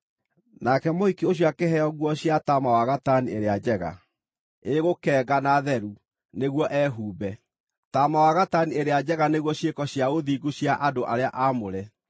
Nake mũhiki ũcio akĩheo nguo cia taama ya gatani ĩrĩa njega, ĩ gũkenga na theru, nĩguo ehumbe.” (Taama wa gatani ĩrĩa njega nĩguo ciĩko cia ũthingu cia andũ arĩa aamũre.)